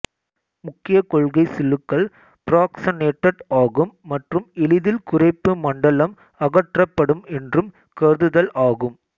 முக்கிய கொள்கை சில்லுகள் பிராக்சனேடட் ஆகும் மற்றும் எளிதில் குறைப்பு மண்டலம் அகற்றப்படும் என்றும் கருதுதல் ஆகும்